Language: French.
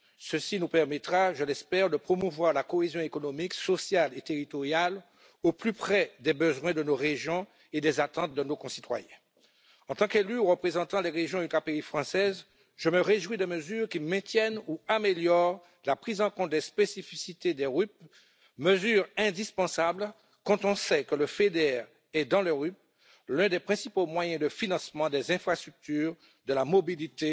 Ceci nous permettra, je l'espère, de promouvoir la cohésion économique, sociale et territoriale au plus près des besoins de nos régions et des attentes de nos concitoyens. En tant qu'élu ou représentant des régions ultrapériphériques françaises, je me réjouis des mesures qui maintiennent ou améliorent la prise en compte des spécificités des RUP, mesures indispensables quand on sait que le FEDER est, dans les RUP, l'un des principaux moyens de financement des infrastructures, de la mobilité